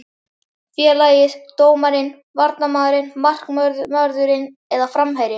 Félagið, dómarinn, varnarmaðurinn, markvörðurinn eða framherjinn?